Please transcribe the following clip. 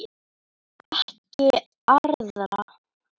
Ekki arða.